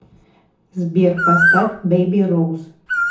сбер поставь бэйби роуз